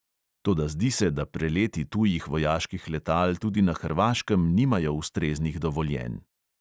Toda zdi se, da preleti tujih vojaških letal tudi na hrvaškem nimajo ustreznih dovoljenj.